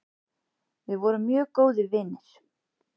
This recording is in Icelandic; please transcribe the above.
Við vorum mjög góðir vinir.